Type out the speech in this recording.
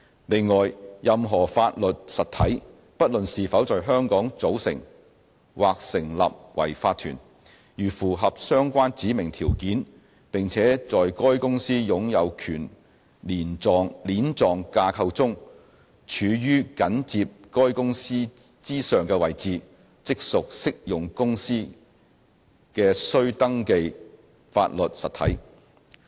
另外，任何法律實體，不論是否在香港組成或成立為法團，如符合相關指明條件，並且在該公司擁有權鏈狀架構中處於緊接該公司之上的位置，即屬適用公司的須登記法律實體。